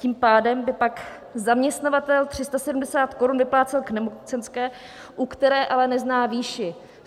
Tím pádem by pak zaměstnavatel 370 korun vyplácel k nemocenské, u které ale nezná výši.